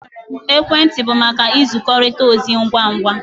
Ekwentị bụ maka nzikọrịta ozi ngwa ngwa